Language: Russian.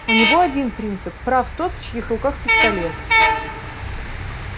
у него один принцип прав тот в чьих руках пистолет